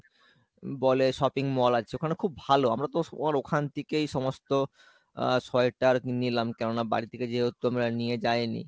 বলে sopping mall আছে ওখানে খুব ভালো, আমরা তো সবার ওখান থেকেই সমস্ত আহ sweater নিলাম কেননা বাড়িথেকে যেহেতু আমরা নিয়ে যাই নি।